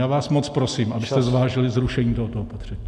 Já vás moc prosím, abyste zvážili zrušení tohoto opatření.